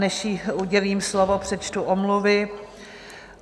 Než jí udělím slovo, přečtu omluvy.